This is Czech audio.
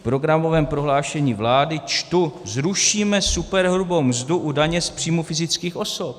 V programovém prohlášení vlády čtu - zrušíme superhrubou mzdu u daně z příjmů fyzických osob.